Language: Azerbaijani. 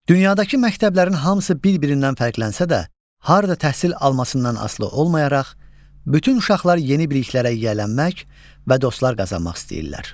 Dünyadakı məktəblərin hamısı bir-birindən fərqlənsə də, harda təhsil almasından asılı olmayaraq, bütün uşaqlar yeni biliklərə yiyələnmək və dostlar qazanmaq istəyirlər.